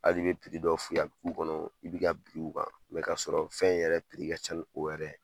Hal'i be dɔ f'u y'a be k'u kɔnɔ i bi ka bi u kan kasɔrɔ fɛn in yɛrɛ ka ca ni o yɛrɛ.